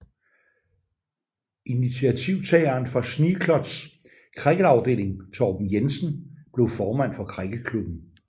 Initiativtageren for Schneekloths cricketafdeling Torben Jensen blev formand for cricketklubben